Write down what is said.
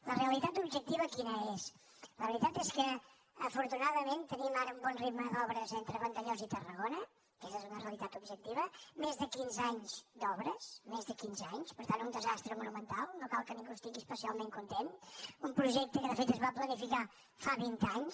la realitat objectiva quina és la veritat és que afortunadament tenim ara un bon ritme d’obres entre vandellòs i tarragona aquesta és una realitat objectiva més de quinze anys d’obres més de quinze anys per tant un desastre monumental no cal que ningú n’estigui especialment content un projecte que de fet es va planificar fa vint anys